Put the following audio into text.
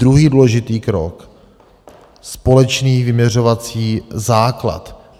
Druhý důležitý krok, společný vyměřovací základ.